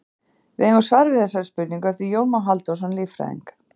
Við eigum svar við þessari spurningu eftir Jón Má Halldórsson líffræðing.